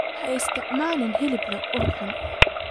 Ha isticmaalin hilib leh ur xun.